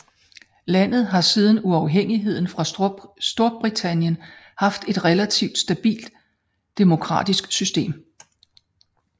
Landet har siden uafhængigheden fra Storbritannien haft et relativt stabilt demokratisk system